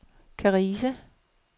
Karise